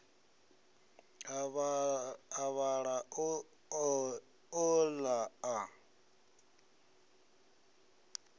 a vhaḓa a ola a